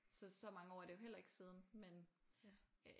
Så så mange år er det jo heller ikke siden men øh